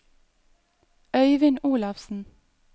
Øivind Olafsen